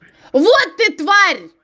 вот ты тварь